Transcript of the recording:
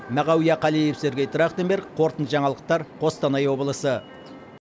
мағауия қалиев сергей трахтенберг қорытынды жаңалықтар қостанай облысы